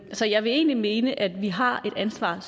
så jeg vil egentlig mene at vi har et ansvar